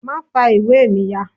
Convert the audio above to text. ma fa ìwé mí yá!